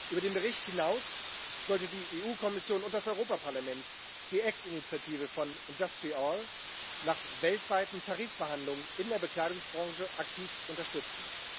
Über den Bericht hinaus sollte die EU Kommission und das Europaparlament die ACT-Initiative von IndustriALL nach weltweiten Tarifverhandlungen in der Bekleidungsbranche aktiv unterstützen.